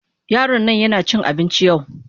Yaron nan yana cin abinci yau.